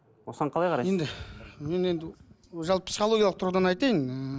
осыған қалай қарайсыз енді мен енді жалпы психологиялық тұрғыдан айтайын ыыы